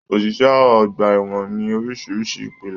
Oṣiṣẹ ọgbà ẹwọn ní orísirísi ìpele.